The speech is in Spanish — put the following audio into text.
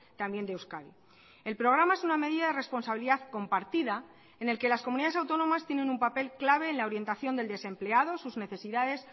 también de euskadi el programa es una medida de responsabilidad compartida en el que las comunidades autónomas tienen un papel clave en la orientación del desempleado sus necesidades